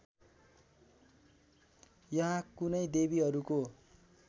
यहाँ कुनै देवीहरूको